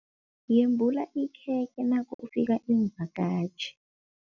Yembula ikhekhe nakufika iimvakatjhi.